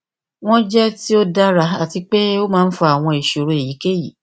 wọn jẹ ti o dara ati pe o maa n fa awọn iṣoro eyikeyi